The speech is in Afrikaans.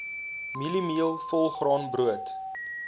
mieliemeel volgraan brood